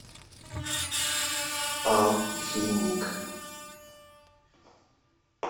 алхимик